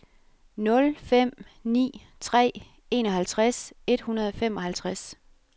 nul fem ni tre enoghalvtreds et hundrede og femoghalvtreds